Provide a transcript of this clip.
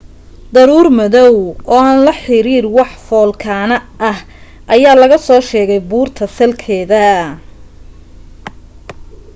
daruur madoow oo aan la xiriir wax foolkaane ah ayaa laga soo sheegay buurta salkeeda